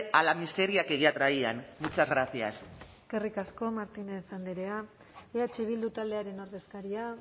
a la miseria que ya traían muchas gracias eskerrik asko martínez andrea eh bildu taldearen ordezkaria